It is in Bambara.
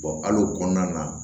hali o kɔnɔna na